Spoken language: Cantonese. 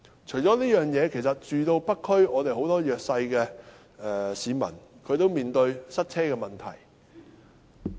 此外，很多住在北區的弱勢市民均面對塞車問題。